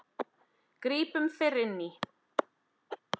Grípum fyrr inn í.